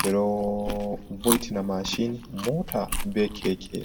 ɓeɗo vo'itina mashin mota be keke.